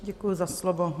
Děkuji za slovo.